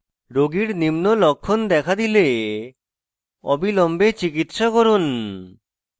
রোগীর নিম্ন লক্ষণ দেখা দিলে অবিলম্বে চিকিত্সা করুন: